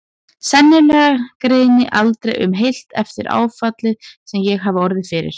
Sennilega greri aldrei um heilt eftir áfallið sem ég hafði orðið fyrir.